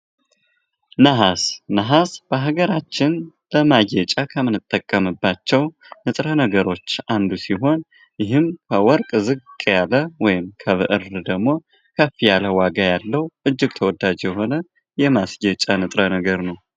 ነሀስ:-ነሀስ በሀገራችን ለማጌጫ ከምንጠቀምባቸዉ ንጥረ ነገሮች አንዱ ሲሆን ከወርቅ ዝቅ ያለ ከብር ደግም ከፍ ያለ የማስጌጫ አይነት ነዉ።